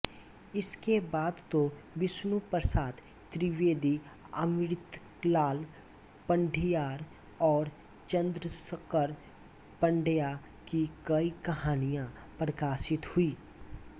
इसके बाद तो विष्णुप्रसाद त्रिवेदी अमृतलाल पंढियार और चंद्रशंकर पंड्या की कई कहानियाँ प्रकाशित हुईं